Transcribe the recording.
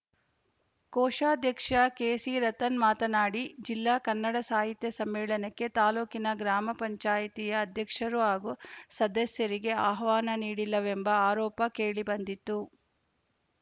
ಕೋಶಾಧ್ಯಕ್ಷ ಕೆಸಿರತನ್‌ ಮಾತನಾಡಿ ಜಿಲ್ಲಾ ಕನ್ನಡ ಸಾಹಿತ್ಯ ಸಮ್ಮೇಳನಕ್ಕೆ ತಾಲೂಕಿನ ಗ್ರಾಮ ಪಂಚಾಯತಿಯ ಅಧ್ಯಕ್ಷರು ಹಾಗೂ ಸದಸ್ಯರಿಗೆ ಆಹ್ವಾನ ನೀಡಿಲ್ಲವೆಂಬ ಆರೋಪ ಕೇಳಿ ಬಂದಿತ್ತು